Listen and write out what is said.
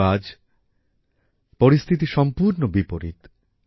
কিন্তু আজ পরিস্থিতি সম্পূর্ণ বিপরীত